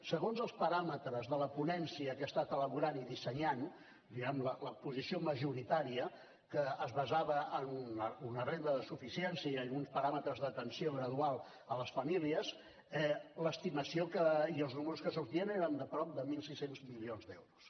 segons els paràmetres de la ponència que ha estat elaborant i dissenyant diguem ne la posició majoritària que es basava en una renda de suficiència i en uns paràmetres d’atenció gradual a les famílies l’estimació i els números que sortien eren de prop de mil sis cents milions d’euros